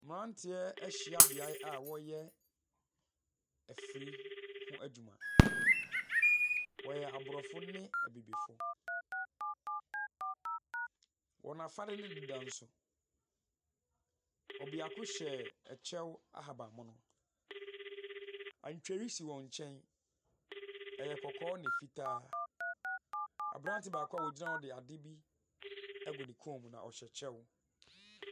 Mmranteɛ ahyia beae a wɔreyɛ afiri ho adwuma. Wɔyɛ Aborɔfo ne Abibifo. Wɔn afade no deda nso, ɔbeako hyɛ ɛkyɛw ahaban mono. Antweri si wɔn nkyɛn. Ɛyɛ kɔkɔɔ ne fitaa. Abrante baako a ogyina hɔ de ade bi agu ne hɔn mu na ɔhyɛ kyɛw.